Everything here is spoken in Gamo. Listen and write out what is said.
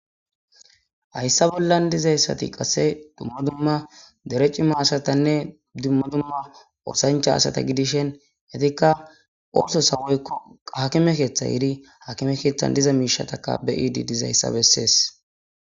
Haysa bolla dizaysati qase duma duma dere cima asatanne duma duma oosancha asata gidishin etika oososo woyko hakimeso yidi hakimeson diza miishata beyosje dizaysa besses.